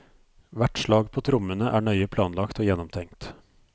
Hvert slag på trommene er nøye planlagt og gjennomtenkt.